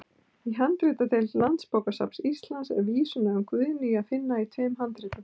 Í handritadeild Landsbókasafns Íslands er vísuna um Guðnýju að finna í tveimur handritum.